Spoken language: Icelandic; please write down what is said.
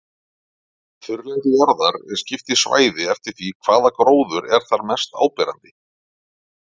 Þurrlendi jarðar er skipt í svæði eftir því hvaða gróður er þar mest áberandi.